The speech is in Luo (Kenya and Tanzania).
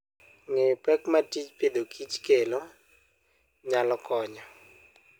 Ng'eyo pek ma tij Agriculture and Foodkelo nyalo konyo.